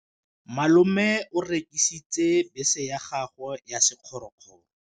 Malome o rekisitse bese ya gagwe ya sekgorokgoro.